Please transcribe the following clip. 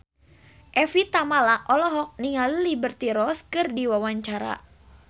Evie Tamala olohok ningali Liberty Ross keur diwawancara